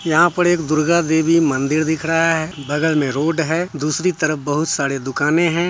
यहाँ पर एक दुर्गा देवी मंदिर दिख रहा है बगल में रोड है दूसरी तरफ बहुत सारी दुकाने है।